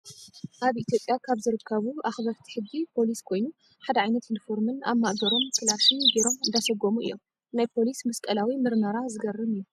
ኣብ ኢትዮጵያ ካብ ዝርከቡ ኣክበርቲ ሕጊ ፖሊስ ኮይኑ፣ ሓደ ዓይነት ዩኒፎርምን ኣብ ማእገሮም ካላሽን ገይሮም እንዳሰጎሙ እዮም። ናይ ፖሊስ መስቀላዊ ምርመራ ዝገርም እዩ።